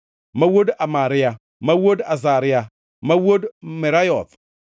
ma wuod Amaria, ma wuod Azaria, ma wuod Merayoth,